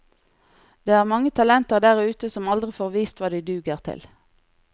Det er mange talenter der ute som aldri får vist hva de duger til.